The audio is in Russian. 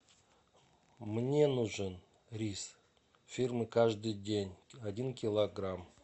мне нужен рис фирмы каждый день один килограмм